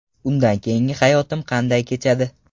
Undan keyingi hayotim qanday kechadi?